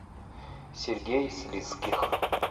сергей слизких